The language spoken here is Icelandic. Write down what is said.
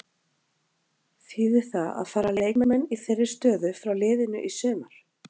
Þýðir það að fara leikmenn í þeirri stöðu frá liðinu í sumar?